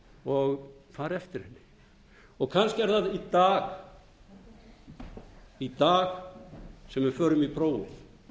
og fari eftir henni kannski er það í dag sem við förum í prófið